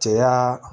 Cɛya